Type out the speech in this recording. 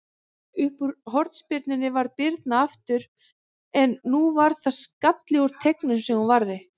Uppúr hornspyrnunni varði Birna aftur, en nú var það skalli úr teignum sem hún varði.